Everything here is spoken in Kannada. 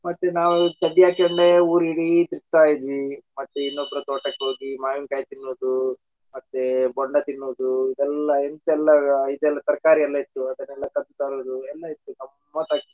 ಮತ್ತೆ ನಾವು ಚಡ್ಡಿ ಹಾಕೊಂಡೆ ಊರಿಡಿ ತಿರಗತಾ ಇದ್ವಿ ಮತ್ತೆ ಇನ್ನೊಬ್ಬರ ತೋಟಕ ಹೋಗಿ ಮಾವಿನಕಾಯಿ ತಿನ್ನೋದು ಮತ್ತೆ ಬೊಂಡಾ ತಿನ್ನೋದು ಇದೆಲ್ಲ ಎಂತೆಲ್ಲಾ ಇದೆಲ್ಲಾ ತರಕಾರಿ ಎಲ್ಲಾ ಇತ್ತು ಅದನ್ನಾ ಕದ್ದು ತರೋದು ಎಲ್ಲಾ ಇತ್ತು ಗಮತ್ತಾಗಿತ್ತು .